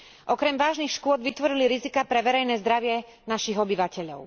Okrem vážnych škôd vytvorili riziká pre verejné zdravie našich obyvateľov.